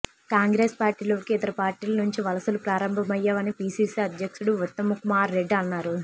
కాంగ్రెస్ పార్టీలోకి ఇతర పార్టీల నుంచి వలసలు ప్రారంభమయ్యాయని పీసీసీ అధ్యక్షుడు ఉత్తమ్కుమార్ రెడ్డి అన్నారు